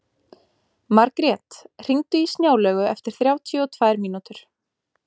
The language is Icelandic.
Margrjet, hringdu í Snjálaugu eftir þrjátíu og tvær mínútur.